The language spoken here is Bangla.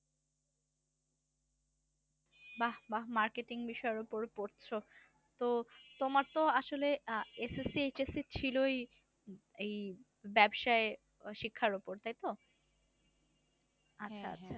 বাহ বাহ marketing বিষয়ের উপর পড়ছো। তো তোমার তো আসলে আহ HSC, SSC ছিলই এই ব্যাবসায় শিক্ষার উপর তাই তো? আচ্ছা আচ্ছা।